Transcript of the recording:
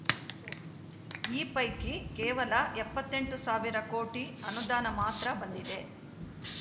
ಈ ಪೈಕಿ ಕೇವಲ ಎಪ್ಪತ್ತ್ ಎಂಟು ಸಾವಿರ ಕೋಟಿ ಅನುದಾನ ಮಾತ್ರ ಬಂದಿದೆ